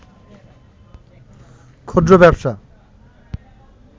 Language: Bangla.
ক্ষুদ্র ব্যবসা